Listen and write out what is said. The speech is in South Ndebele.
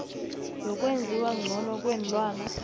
yokwenziwa ngcono kweenlwana